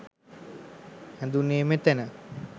හැදුණේ මෙතැන